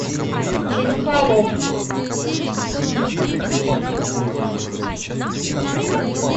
фильм холоп